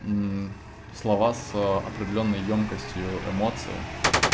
слова с определённой ёмкостью эмоции